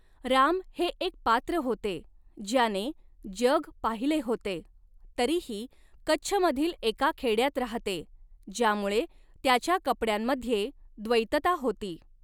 राम हे एक पात्र होते ज्याने 'जग पाहिले होते' तरीही कच्छमधील एका खेड्यात राहते, ज्यामुळे त्याच्या कपड्यांमध्ये द्वैतता होती.